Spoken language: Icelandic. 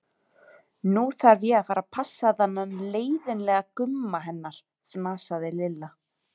Nú þarf ég að fara að passa þennan leiðin- lega Gumma hennar, fnasaði Lilla.